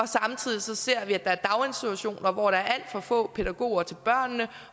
samtidig ser at der er daginstitutioner hvor der er alt for få pædagoger til børnene at